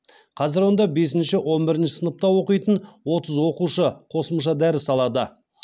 қазір онда бесінші он бірінші сыныпта оқитын отыз оқушы қосымша дәріс алады